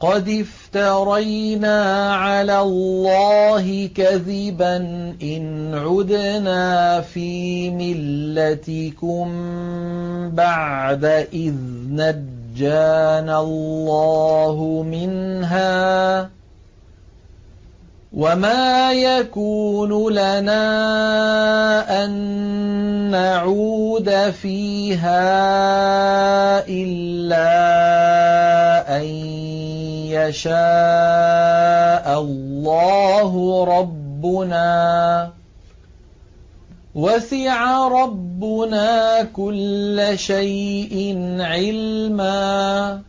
قَدِ افْتَرَيْنَا عَلَى اللَّهِ كَذِبًا إِنْ عُدْنَا فِي مِلَّتِكُم بَعْدَ إِذْ نَجَّانَا اللَّهُ مِنْهَا ۚ وَمَا يَكُونُ لَنَا أَن نَّعُودَ فِيهَا إِلَّا أَن يَشَاءَ اللَّهُ رَبُّنَا ۚ وَسِعَ رَبُّنَا كُلَّ شَيْءٍ عِلْمًا ۚ